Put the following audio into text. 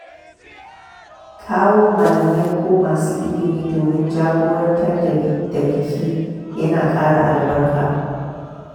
Kawo malamai ko masu ilimi domin jagorantar biki ya na kara albarka.